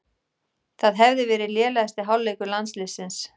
Það hefði verið lélegasti hálfleikur landsliðsins